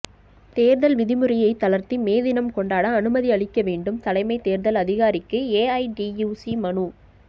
தேர்தல் விதிமுறையை தளர்த்தி மே தினம் கொண்டாட அனுமதி அளிக்க வேண்டும் தலைமை தேர்தல் அதிகாரிக்கு ஏஐடியூசி மனு